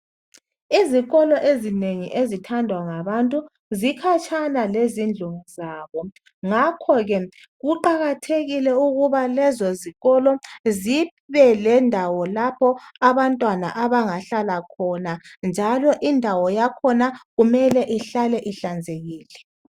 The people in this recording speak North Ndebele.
Izikolo ezinengi ezithandwa ngabantu zikhatshana lezindlu zabo ngakho ke kuqakathekile ukuthi lezo zikolo zibe lendawo lapho abantwana abangahlala khona njalo indawo yakhona kumele ihlale ihlanzekile.